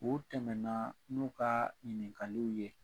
U tɛmɛna n'o ka ɲininkaliw ye.